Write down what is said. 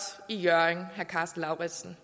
i hjørring må jeg sige